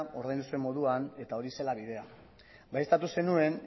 ordaindu zuen moduan eta horixe zela bidea baieztatu zenuen